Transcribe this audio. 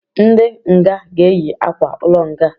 Ndị nga ga eyi akwa-ulo nga